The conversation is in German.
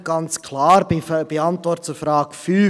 Nicht ganz klar ist seine Antwort zur Frage 5.